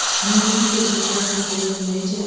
Nurunu gözümdə saxlayım necə.